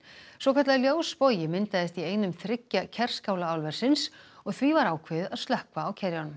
svokallaður myndaðist í einum þriggja Kerskála álversins og því var ákveðið að slökkva á